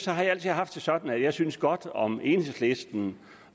har jeg altid haft det sådan at jeg synes godt om enhedslisten